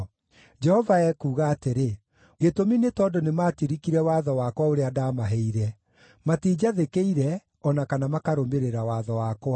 Jehova ekuuga atĩrĩ, “Gĩtũmi nĩ tondũ nĩmatirikire watho wakwa ũrĩa ndaamaheire; matinjathĩkĩire, o na kana makarũmĩrĩra watho wakwa.